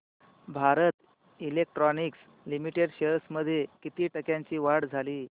Bharat electronics limited shares मध्ये किती टक्क्यांची वाढ झाली